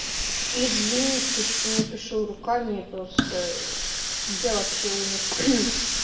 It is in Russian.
извините что не пишу руками я просто я вообще умер